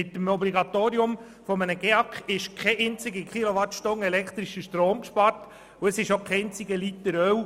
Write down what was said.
Mit dem Obligatorium des GEAK ist keine einzige Kilowattstunde elektrischen Stroms gespart und auch kein einziger Liter Öl.